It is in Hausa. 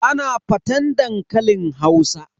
Ana faten dankalin Hausa.